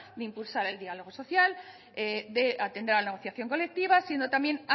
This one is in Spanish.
de impulsar el diálogo social de atender a la negociación colectiva siendo también